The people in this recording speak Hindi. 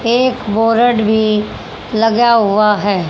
एक बोरड भी लगा हुआ है।